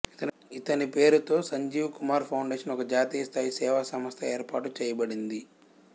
ఇతని పేరుతో సంజీవ్ కుమార్ ఫౌండేషన్ ఒక జాతీయ స్థాయి సేవా సంస్థ ఏర్పాటు చేయబడింది